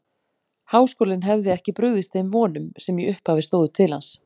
Háskólinn hefði ekki brugðist þeim vonum, sem í upphafi stóðu til hans.